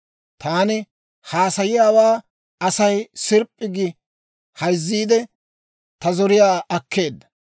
«Taani haasayiyaawaa Asay sirp'p'i gi hayzziide, ta zoriyaa akkeedda.